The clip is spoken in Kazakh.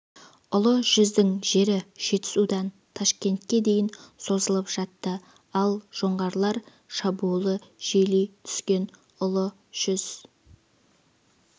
ұлы жүздің жері жетісудан ташкентке дейін созылып жатты ал жоңғарлар шабуылы жиілей түскенде ұлы жүз